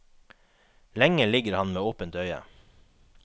Lenge ligger han med åpent øye.